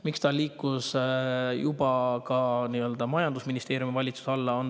Miks see liigub majandusministeeriumi valitsuse alla?